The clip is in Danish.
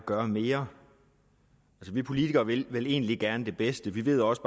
gøre mere vi politikere vil vel egentlig gerne det bedste vi ved også